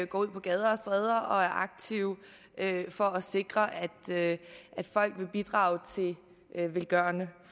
går ud på gader og stræder og er aktive for at sikre at folk vil bidrage til velgørende